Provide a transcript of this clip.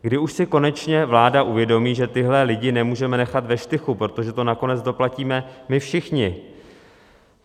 Kdy už si konečně vláda uvědomí, že tyhle lidi nemůžeme nechat ve štychu, protože to nakonec doplatíme my všichni?